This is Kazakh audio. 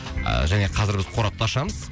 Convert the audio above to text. және қазір біз қорапты ашамыз